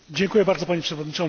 Panie Przewodniczący!